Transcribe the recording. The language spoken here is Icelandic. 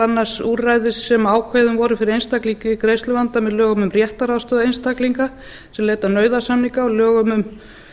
annars úrræði sem ákveðin voru fyrir einstakling í greiðsluvanda með lögum um réttaraðstoð einstaklinga sem leita nauðasamninga og lögum um